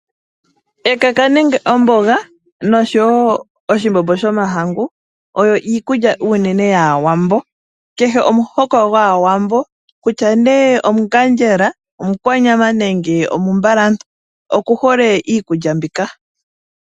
Ekaka nenge omboga nosho woo oshimbobo shoma hangu, oyo iikudja unene yaa wambo. Kehe omuhoko gwaa wambo kutya nee omungadjela, omukwanyama nenge omumbalantu, oku hole iikulya mbika.